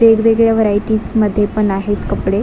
वेगवेगळ्या व्हरायटीज् मध्ये पण आहेत कपडे.